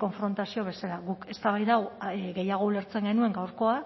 konfrontazio bezala guk eztabaida hau gehiago ulertzen genuen gaurkoa